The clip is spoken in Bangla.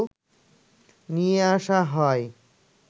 নিয়ে আসা হয়